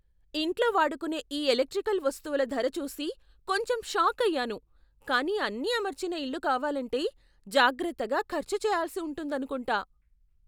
ఇంట్లో వాడుకునే ఈ ఎలక్ట్రికల్ వస్తువుల ధర చూసి కొంచెం షాకయ్యాను, కానీ అన్నీ అమర్చిన ఇల్లు కావాలంటే జాగ్రత్తగా ఖర్చు చేయాల్సి ఉంటుందనుకుంటా.